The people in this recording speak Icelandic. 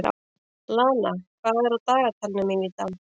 Lana, hvað er á dagatalinu mínu í dag?